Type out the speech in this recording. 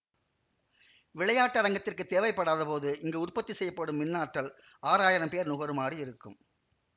விளையாட்டரங்கத்திற்குத் தேவைப்படாதபோது இங்கு உற்பத்தி செய்யப்படும் மின்னாற்றல் ஆறாயிரம் பேர் நுகருமாறு இருக்கும்